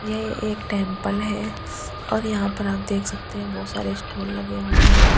यह एक टेंपल है और यहां पर आप देख सकते है बहुत सारे स्टूल लगे हुए हैं।